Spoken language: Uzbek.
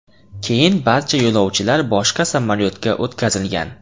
Keyin barcha yo‘lovchilar boshqa samolyotga o‘tkazilgan.